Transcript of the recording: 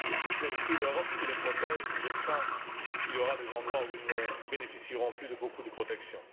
Si ce n'est plus l'Europe qui les protège, je crains qu'il y ait des endroits où ils ne bénéficieront plus de beaucoup de protection.